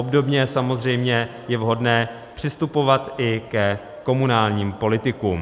Obdobně samozřejmě je vhodné přistupovat i ke komunálním politikům.